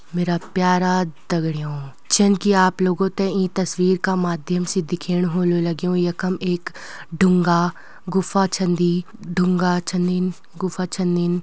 मेरा प्यारा दगड़ियों जिनकी आप लोगो थें इं तस्वीर का माध्यम से दिख्याणु ह्वोलु लग्युं यखम एक ढुंगा गुफा छिन दीं ढुंगा छिनिन गुफा छिनिन।